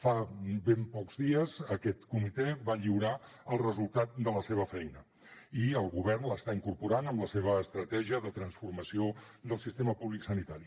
fa ben pocs dies aquest comitè va lliurar el resultat de la seva feina i el govern l’està incorporant en la seva estratègia de transformació del sistema públic sanitari